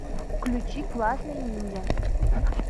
включи классный ниндзя